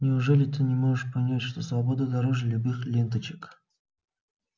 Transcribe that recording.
неужели ты не можешь понять что свобода дороже любых ленточек